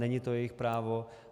Není to jejich právo.